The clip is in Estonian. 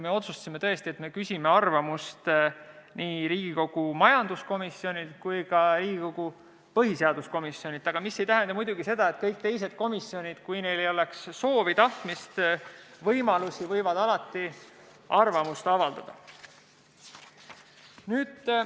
Me otsustasime, et me küsime arvamust nii Riigikogu majanduskomisjonilt kui ka Riigikogu põhiseaduskomisjonilt, mis ei tähenda muidugi seda, et kõik teised komisjonid, kui neil on soovi ja tahtmist ja võimalusi, ei võiks alati arvamust avaldada.